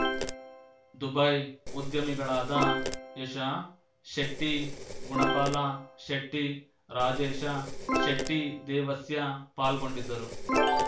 Dubai ಉದ್ಯಮಿಗಳಾದ ಯಶ ಶೆಟ್ಟಿ ಗುಣಪಾಲ ಶೆಟ್ಟಿ ರಾಜೇಶ ಶೆಟ್ಟಿದೇವಸ್ಯ ಪಾಲ್ಗೊಂಡಿದ್ದರು